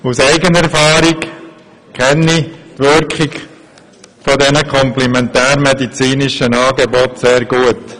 Aus eigener Erfahrung kenne ich die Wirkung dieser komplementärmedizinischen Angebote sehr gut.